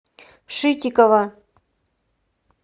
шитикова